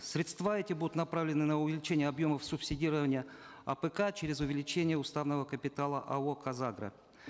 средства эти будут направлены на увеличение объемов субсидирования апк через увеличение уставного капитала ао казагро